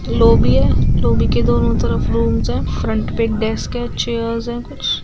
lobby है lobby के दोनों तरफ रूम्स है फ्रंट पर एक डेस्क है चेयर्स है कुछ --